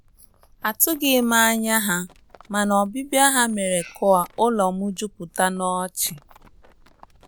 Atụghị m anya ha, mana ọbibia ha mere ka ụlọ m juputa n'ọchị.